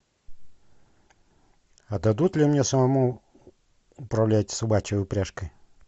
а дадут ли мне самому управлять собачьей упряжкой